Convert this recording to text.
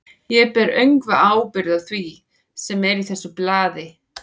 Ég ber öngva ábyrgð á því, sem er í þessu blaði.